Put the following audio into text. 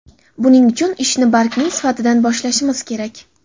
Buning uchun ishni bargning sifatidan boshlashimiz kerak.